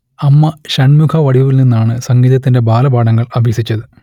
അമ്മ ഷൺമുഖവടിവുവിൽ നിന്നാണ് സംഗീതത്തിന്റെ ബാലപാഠങ്ങൾ അഭ്യസിച്ചത്